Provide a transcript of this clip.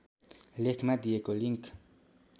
लेखमा दिएको लिङ्क